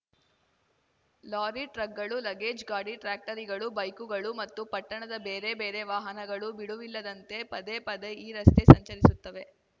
lorry ಟ್ರಕ್‌ಗಳು luggage ಗಾಡಿ ಟ್ರ್ಯಾಕ್ಟರಿಗಳು ಬೈಕುಗಳು ಮತ್ತು ಪಟ್ಟಣದ ಬೇರೆ ಬೇರೆ ವಾಹನಗಳು ಬಿಡುವಿಲ್ಲದಂತೆ ಪದೇ ಪದೆ ಈ ರಸ್ತೆ ಸಂಚರಿಸುತ್ತವೆ